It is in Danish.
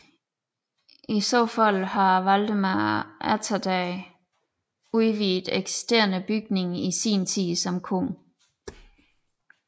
I så fald har Valdemar Atterdag udvidet eksisterende bygning i sin tid som konge